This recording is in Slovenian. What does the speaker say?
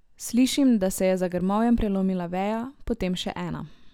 Slišim, da se je za grmovjem prelomila veja, potem še ena.